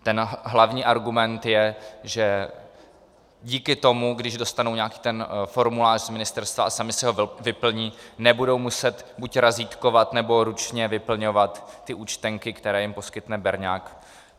Ten hlavní argument je, že díky tomu, když dostanou nějaký ten formulář z ministerstva a sami si ho vyplní, nebudou muset buď razítkovat, nebo ručně vyplňovat ty účtenky, které jim poskytne berňák.